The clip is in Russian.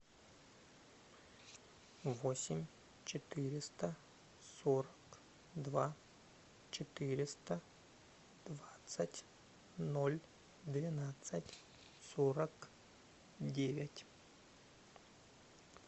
восемь четыреста сорок два четыреста двадцать ноль двенадцать сорок девять